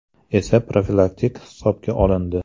esa profilaktik hisobga olindi.